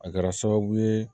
A kɛra sababu ye